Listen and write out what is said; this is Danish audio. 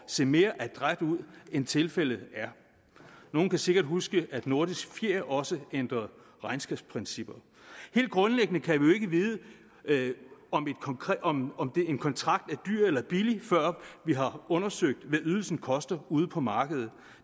se mere adræt ud end tilfældet er nogle kan sikkert huske at nordisk fjer også ændrede regnskabsprincipper helt grundlæggende kan vi jo ikke vide om en kontrakt er dyr eller billig før vi har undersøgt hvad ydelsen koster ude på markedet